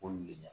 Ko nin le la